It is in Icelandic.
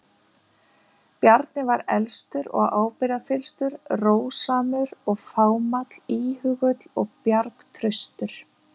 Bjarni var elstur og ábyrgðarfyllstur, rósamur og fámáll, íhugull og bjargtraustur.